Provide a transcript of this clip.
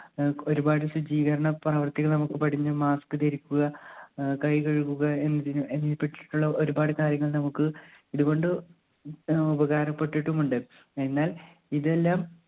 ഏർ ഒരുപാട് ശുജീകരണ പ്രവർത്തികൾ നമ്മുക്ക് പടിഞ്ഞു mask ധരിക്കുക ഏർ കൈ കഴുകുക പറ്റിയിട്ടുള്ള ഒരുപാട് കാര്യങ്ങൾ നമ്മുക്ക് ഇതുകൊണ്ട് ഉപകാരപ്പെട്ടിട്ടും ഉണ്ട്. എന്നാൽ ഇതെല്ലാം